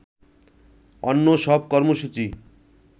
অন্য সব কর্মসূচি